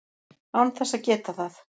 án þess að geta það.